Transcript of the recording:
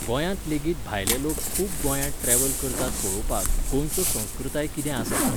गोंयांत लेगीत भायले लोक खूब गोंयांत ट्रॅवल करतात पळोवपाक, गोंयचो संस्कृताय कितें आसा तो